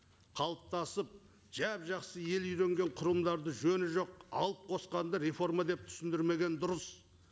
қалыптасып жап жақсы ел үйренген құрылымдарды жөні жоқ алып қосқанды реформа деп түсірмегені дұрыс